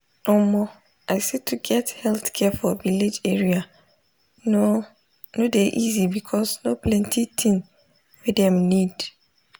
omo i say to get healthcare for village area no no dey easy because no plenti thing wey dem need.